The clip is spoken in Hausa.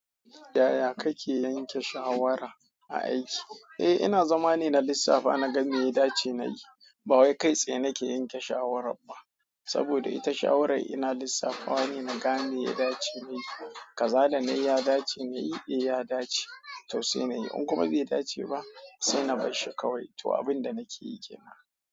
Yaya kake yanke shawara a aiki? Eh ina zama ne na lissafa, na gan inda ya dace na yi. Ba wai kai tsaye nake yanke shawara ba, saboda ita shawarai ina lissafawa ne, na ga me ya dace na yi. Kaza da nayi ya dace na yi, eh ya dace, to sai na yi. In kuma bai dace ba, sai na barshi kawai. To abin da nake yi ke nan.